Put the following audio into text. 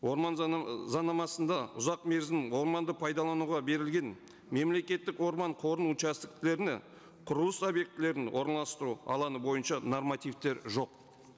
орман заңнамасында ұзақ мерзім орманды пайдалануға берілген мемлекеттік орман қорының құрылыс объектілерін орналастыру алаңы бойынша нормативтер жоқ